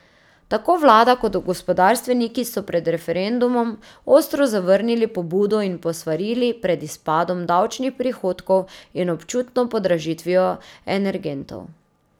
Tako vlada kot gospodarstveniki so pred referendumom ostro zavrnili pobudo in posvarili pred izpadom davčnih prihodkov in občutno podražitvijo energentov.